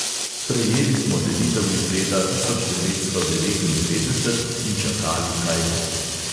Sprejeli smo delitev iz leta tisoč devetsto devetindevetdeset in čakali, kaj bo.